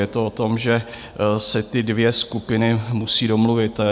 Je to o tom, že se ty dvě skupiny musí domluvit.